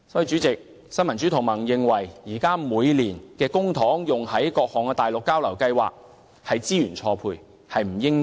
主席，新民主同盟認為，政府現時每年把公帑用作於資助各項內地交流計劃上，實屬資源錯配。